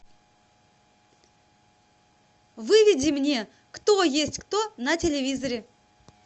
выведи мне кто есть кто на телевизоре